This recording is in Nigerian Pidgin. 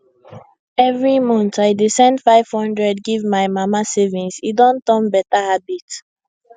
every month i dey send 500 give my mama savings e don turn beta habit